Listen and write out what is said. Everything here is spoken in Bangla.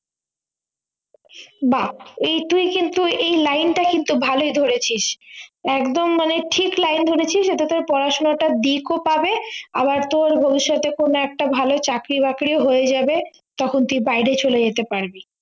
বা এই তুই কিন্তু এই line টা কিন্তু ভালোই ধরেছিস একদম মানে ঠিক line ধরেছিস এতে তোর পড়াশুনাটা ও পাবে আবার তোর ভবিষ্যতে কোন একটা ভালো চাকরি বাকরিও হয়ে যাবে তখন তুই বাইরে চলে যেতে পারবি